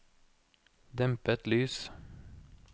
dempet lys